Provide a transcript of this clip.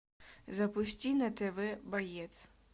запусти на тв боец